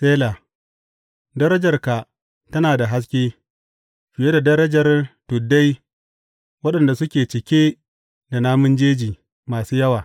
Sela Darajarka tana da haske, fiye da darajar tuddai waɗanda suke cike da namun jeji masu yawa.